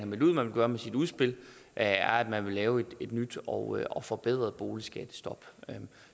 meldt ud at man vil gøre med sit udspil er at man vil lave et nyt og og forbedret boligskattestop